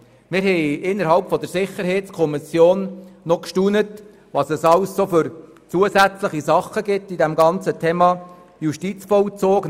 Die Sicherheitskommission war erstaunt über all die zusätzlichen Dinge, die zum Thema Justizvollzug gehören.